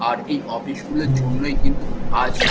আর এই অফিস গুলোর জন্যই কিন্তু আজ--